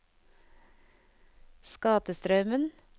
Skatestraumen